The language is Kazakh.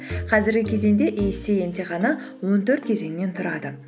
қазіргі кезеңде эйсиэй емтиханы он төрт кезеңнен тұрады